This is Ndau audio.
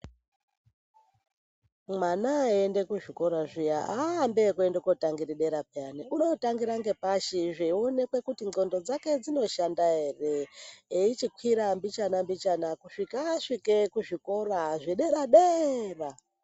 Mwana aenda kuzvikora zviya haaende kunotangira bera peya unotangira ngepashi zveonekwe kuti ndzvondo dzinoshanda hre echikwire mbichana mbichana kusvika asvike kuzvikora zvedera deera.